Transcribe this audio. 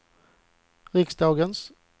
riksdagens